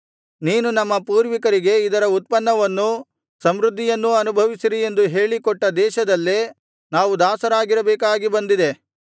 ನೀನು ನಮ್ಮ ಪೂರ್ವಿಕರಿಗೆ ಇದರ ಉತ್ಪನ್ನವನ್ನೂ ಸಮೃದ್ಧಿಯನ್ನೂ ಅನುಭವಿಸಿರಿ ಎಂದು ಹೇಳಿ ಕೊಟ್ಟ ದೇಶದಲ್ಲೇ ನಾವು ದಾಸರಾಗಿರಬೇಕಾಗಿ ಬಂದಿದೆ